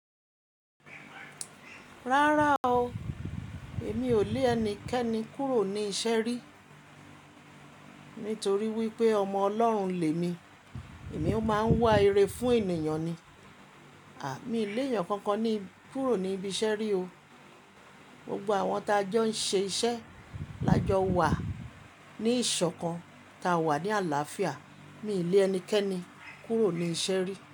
Rárá o, èmi ò lé ẹnikẹ́ni kúrò ní iṣẹ́ rí. Nítorí wípé ọmọ Ọlọ́run lè mi, èmi ó máa ń wá ire fún ènìyàn ni. A ah, mi lé ẹyọ kankan ni kúrò ní ibi iṣẹ́ rí o. Gbogbo àwọn tí a jọ ń ṣe iṣẹ́ la jọ wa ní ìṣọ̀kan, ta wà ní àlàáfíà mí ilé ẹnikẹ́ni, kúrò ní iṣẹ́ rí.